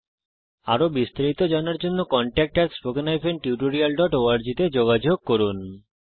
আরো বিস্তারিত জানার জন্য contactspoken tutorialorg তে যোগযোগ করুন